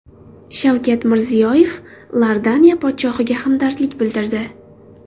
Shavkat Mirziyoyev Iordaniya podshohiga hamdardlik bildirdi.